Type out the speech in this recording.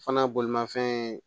Fana bolimanfɛn